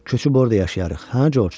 Köçüb orda yaşayarıq, hə Coç?